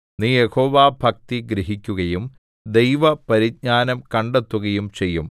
നീ യഹോവാഭക്തി ഗ്രഹിക്കുകയും ദൈവപരിജ്ഞാനം കണ്ടെത്തുകയും ചെയ്യും